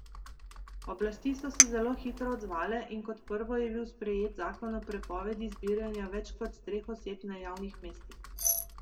Oblasti so se zelo hitro odzvale in kot prvo je bil sprejet zakon o prepovedi zbiranja več kot treh oseb na javnih mestih.